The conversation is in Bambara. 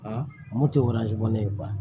Aa mun tɛ ne ye